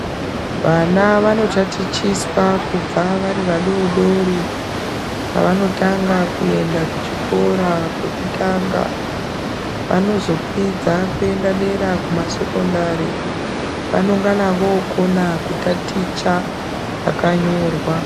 Vana vanotatichiswa kubva vari vadodori pavanotanga kuenda kuchikora kwekutanga vanozokwidza kuenda dera kuma sekondari vanongana vookona kutaticha zvakanyorwa.